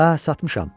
Hə, satmışam.